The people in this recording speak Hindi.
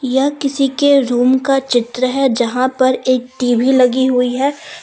यह किसी के रूम का चित्र है जहां पर एक टी_वी लगी हुई है।